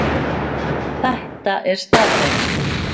Þetta er staðreynd